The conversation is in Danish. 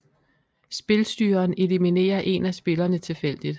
Spilstyreren eliminerer en af spillerne tilfældigt